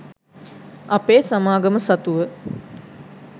අපේ සමාගම සතුව